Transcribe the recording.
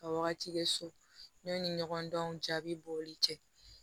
Ka wagati kɛ so yanni ɲɔgɔndanw jaabi bɔli cɛ